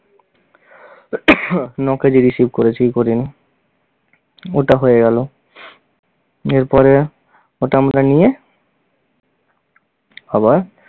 ন-কেজি receive করেছে কি করিনি। ওটা হয়ে গেল, এর পরে ওটা আমরা নিয়ে আবার